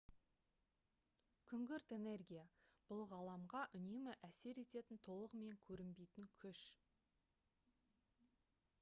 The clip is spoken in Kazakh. күңгірт энергия бұл ғаламға үнемі әсер ететін толығымен көрінбейтін күш